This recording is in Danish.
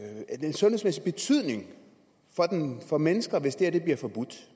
sundhedsmæssig betydning for mennesker hvis det her bliver forbudt